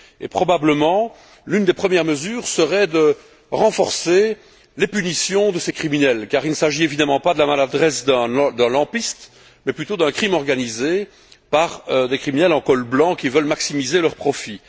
Et, probablement, l'une des premières mesures à adopter serait le renforcement des sanctions infligées à ces criminels, car il ne s'agit évidemment pas de la maladresse d'un lampiste, mais plutôt d'un crime organisé par des criminels en col blanc, qui veulent maximiser leur profit.